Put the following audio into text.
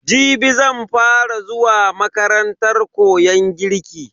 Jibi zan fa ra zuwa makarantar koyon girki.